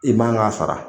I man ka sara